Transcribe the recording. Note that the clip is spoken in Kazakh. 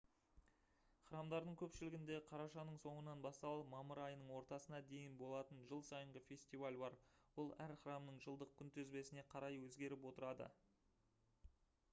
храмдардың көпшілігінде қарашаның соңынан басталып мамыр айының ортасына дейін болатын жыл сайынғы фестиваль бар ол әр храмның жылдық күнтізбесіне қарай өзгеріп отырады